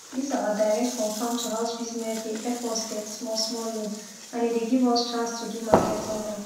dis our direct from farm to house business dey epp us det small small loan and e dey give us chance to do market online